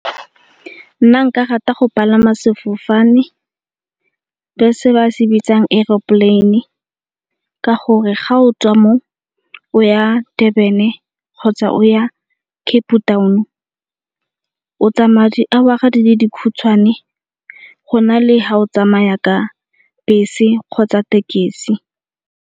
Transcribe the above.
Nna nka rata go palama sefofane se ba se bitsang aeroplane-e ka gore ga o tswa mo o ya Durban-e kgotsa o ya Cape Town o tsamaya di-hour-a di le dikhutshwane go na le ga o tsamaya ka bese kgotsa thekisi.